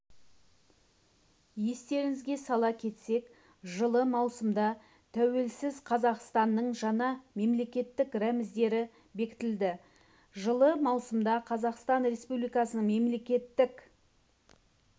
естеріңізге сала кетсек жылы маусымда тәуелсіз қазақстанның жаңа мемлекеттік рәміздері бекітілді жылы маусымда қазақстан республикасының мемлекеттік